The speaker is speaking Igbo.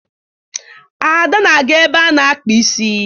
Ada na-aga ebe a na-akpa isi.